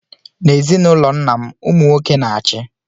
N'ezinụlọ nna m, ụmụ nwoke na-achị.